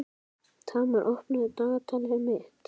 Tamar, opnaðu dagatalið mitt.